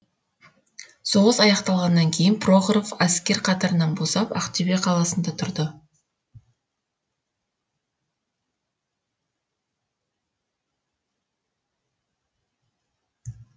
соғыс аяқталғаннан кейін прохоров әскер қатарынан босап ақтөбе қаласында тұрды